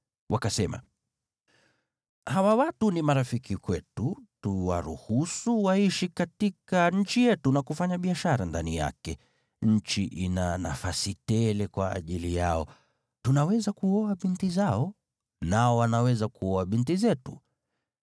Wakasema, “Hawa watu ni marafiki kwetu, tuwaruhusu waishi katika nchi yetu na kufanya biashara ndani yake, nchi ina nafasi tele kwa ajili yao. Tunaweza kuoa binti zao. Nao wanaweza kuoa binti zetu.